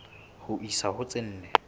ho isa ho tse nne